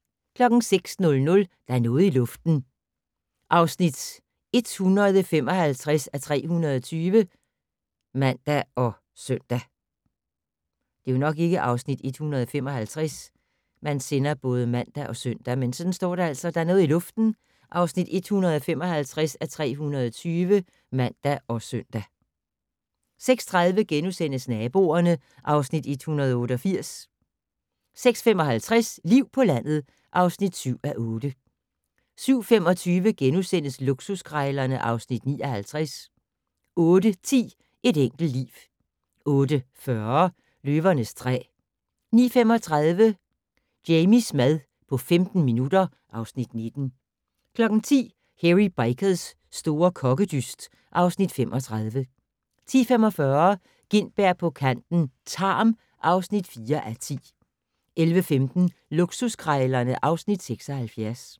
06:00: Der er noget i luften (155:320)(man og søn) 06:30: Naboerne (Afs. 188)* 06:55: Liv på landet (7:8) 07:25: Luksuskrejlerne (Afs. 59)* 08:10: Et enkelt liv 08:40: Løvernes træ 09:35: Jamies mad på 15 minutter (Afs. 19) 10:00: Hairy Bikers' store kokkedyst (Afs. 35) 10:45: Gintberg på kanten - Tarm (4:10) 11:15: Luksuskrejlerne (Afs. 76)